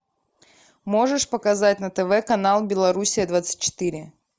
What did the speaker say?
можешь показать на тв канал белоруссия двадцать четыре